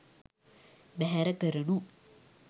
බැහැර කරනු